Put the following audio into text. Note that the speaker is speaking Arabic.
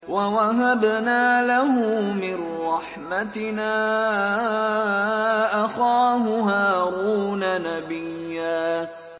وَوَهَبْنَا لَهُ مِن رَّحْمَتِنَا أَخَاهُ هَارُونَ نَبِيًّا